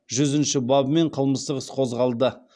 жүзінші бабымен қылмыстық іс қозғалды